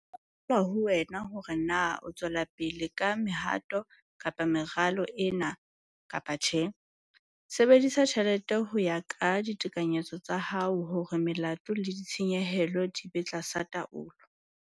Ho itswela ho wena hore na o tswela pele ka mehato meralo ena kapa tjhe. Sebedisa tjhelete ho ya ka ditekanyetso tsa hao hore melato le ditshenyehelo di be tlasa taolo.